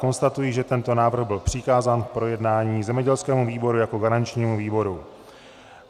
Konstatuji, že tento návrh byl přikázán k projednání zemědělskému výboru jako garančnímu výboru.